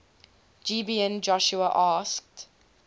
gibeon joshua asked